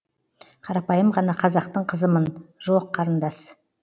қарапайым ғана қазақтың қызымын жоқ қарындас